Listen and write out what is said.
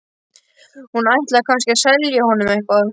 Hún ætlaði kannski að selja honum eitthvað.